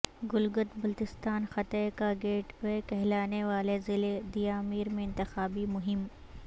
گلگت بلتستان خطے کا gateway کہلانے والے ضلعے دیامیر میں انتخابی مہم